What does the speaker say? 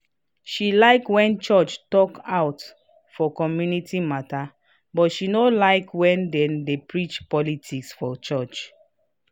she like when church talk put for community matter but she no like when they de preach politics for church